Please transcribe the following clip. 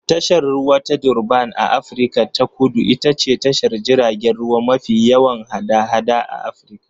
Tashar ruwa ta Durban a Afirka ta Kudu ita ce tashar jiragen ruwa mafi yawan hada-hada Afirka